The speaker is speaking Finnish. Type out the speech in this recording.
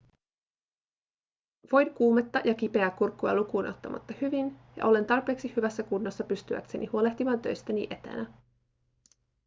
voin kuumetta ja kipeää kurkkua lukuun ottamatta hyvin ja olen tarpeeksi hyvässä kunnossa pystyäkseni huolehtimaan töistäni etänä